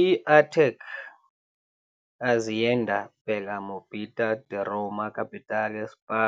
I-ATAC Azienda per la Mobilità di Roma Capitale SpA